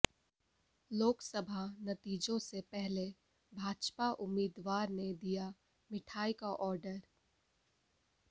लोकसभा नतीजों से पहले भाजपा उम्मीदवार ने दिया मिठाई का आर्डर